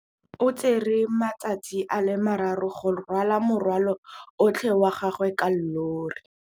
O tsere malatsi a le marraro go rwala morwalo otlhe wa gagwe ka llori.